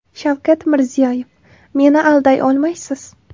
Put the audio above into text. Shavkat Mirziyoyev: Meni alday olmaysiz.